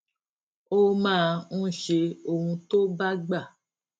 ó máa ń ṣe ohun tó bá gbà